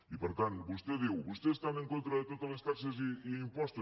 i per tant vostè diu vostès estan en contra de totes les taxes i impostos